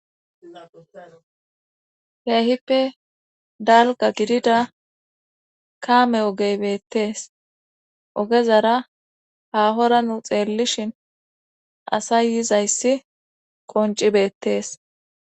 Kehippe dalga gidida kaame ogeybettees ogezara hahora nu xeellishin asa yizayssi konci beettees